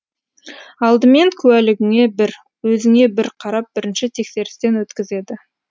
алдымен куәлігіңе бір өзіңе бір қарап бірінші тексерістен өткізеді